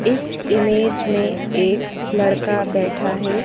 इस इमेज में एक लड़का बैठा है।